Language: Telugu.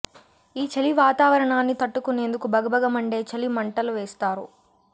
ఈ చలి వాతావరణాన్ని తట్టుకునేందుకు భగ భగ మండే చలి మంటల వేస్తారు